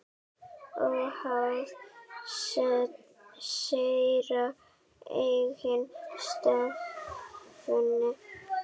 Óháð þeirra eigin stefnu.